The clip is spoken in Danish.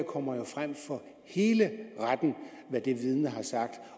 kommer jo frem for hele retten